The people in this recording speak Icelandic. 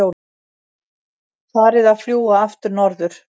Farið að fljúga aftur norður